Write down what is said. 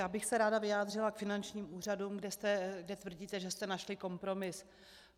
Já bych se ráda vyjádřila k finančním úřadům, kde tvrdíte, že jste našli kompromis.